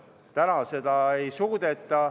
Praegu seda ei suudeta.